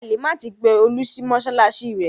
Halimat pe Olú sí mọ́ṣáláṣí rẹ̀.